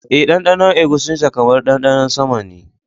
Eh, ɗanɗanon eguisinta kamar ɗanɗanon sama ne